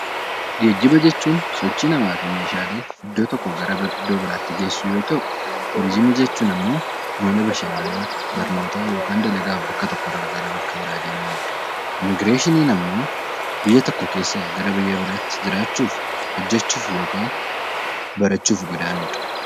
Geejjiba jechuun sochii namaa fi meeshaalee iddoo tokkoo gara iddoo biraatti geessu yoo ta'u, turizimii jechuun immoo mana bashannanaa yookaan dalagaaf bakka tokkorraa gara bakka biraa deemamudha. Immiigireeshiniin immoo biyya tokko keessaa gara biyya biraatti jiraachuuf, hojjachuuf yookaan barachuuf godaanuudha.